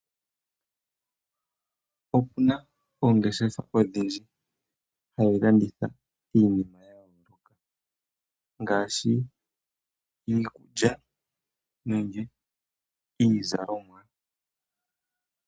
Opuna oongeshefa odhindji hadhilanditha iinima, ngaashi iikulya nenge iizalomwa.